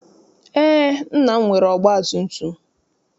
Eé, nna m nwere ọgbatumtum.